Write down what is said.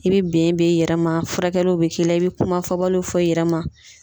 I bi ben ben i yɛrɛ ma furakɛliw be k'i la i bi kuma fɔbaliw fɔ i yɛrɛ ma